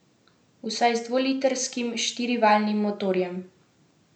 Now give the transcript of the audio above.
Vsaj z dvolitrskim štirivaljnim motorjem.